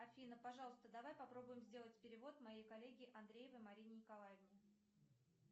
афина пожалуйста давай попробуем сделать перевод моей коллеге андреевой марине николаевне